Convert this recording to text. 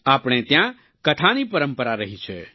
આપણે ત્યાં કથાની પરંપરા રહી છે